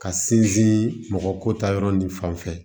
Ka sinsin mɔgɔ ko ta yɔrɔ ni fanfɛ